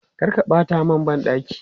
Kar ka ɓata mana ban ɗaki!